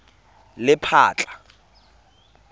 lephatla